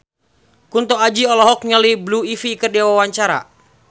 Kunto Aji olohok ningali Blue Ivy keur diwawancara